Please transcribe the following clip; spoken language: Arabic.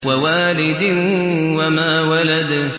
وَوَالِدٍ وَمَا وَلَدَ